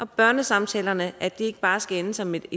børnesamtalerne ikke bare skal ende som et